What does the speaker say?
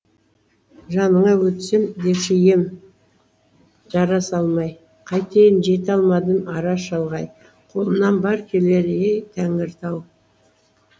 жаныңа өтсем деуші ем жара салмай қайтейін жете алмадым ара шалғай қолымнан бар келері ей тәңіртау